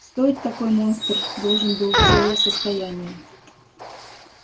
стоит такой монстр должен был целое состояние